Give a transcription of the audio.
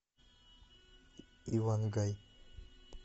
ивангай